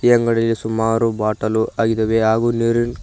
ಈ ಅಂಗಡಿಗೆ ಸುಮಾರು ಬಾಟಲ್ ಆಗಿದ್ದಾವೆ ಹಾಗೂ ನೀರಿನ್--